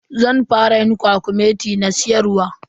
Zan fara yin kwakumeti na siyarwa.